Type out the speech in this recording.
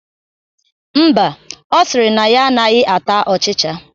Mba, ọ sịrị na ya anaghị ata ọchịcha